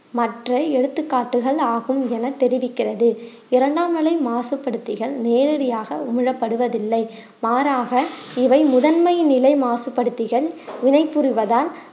மற்ற எடுத்துக்காட்டுகள் ஆகும் என தெரிவிக்கிறது இரண்டாம் நிலை மாசுபடுத்திகள் நேரடியாக உமிழப்படுவதில்லை மாறாக இவை முதன்மை நிலை மாசுபடுத்திகள் வினை புரிவதால்